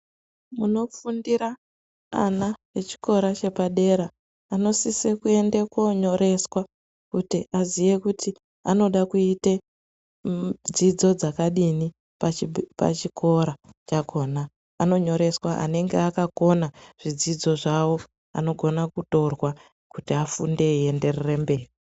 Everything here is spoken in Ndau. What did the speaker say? Munofundira ana echikora chepadera munosise kuende koonyoreswa kuti aziye kuti anode kuite dzidzo dzakadini pachikora chakhona, anonyoreswa anenge akakona zvidzidzo zvawo anogona kutorwa kuti afunde eienderera mberi.